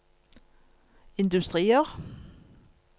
industrier